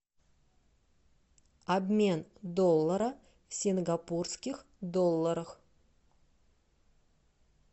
обмен доллара в сингапурских долларах